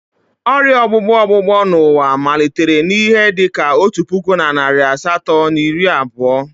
Ọrịa ọgbụgbọ ọgbụgbọ n'ụwa malitere n'ihe dị ka otu puku na narị asatọ na iri abụọ.